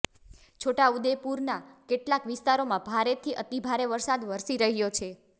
છોટાઉદેપુરના કેટલાક વિસ્તારોમાં ભારેથી અતિભારે વરસાદ વરસી રહ્યો છે